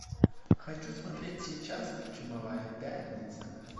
хочу смотреть сейчас чумовая пятница